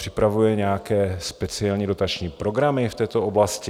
Připravuje nějaké speciální dotační programy v této oblasti?